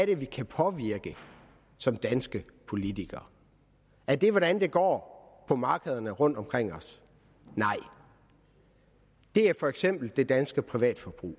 det vi kan påvirke som danske politikere er det hvordan det går på markederne rundtomkring os nej det er for eksempel det danske privatforbrug